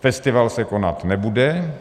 festival se konat nebude.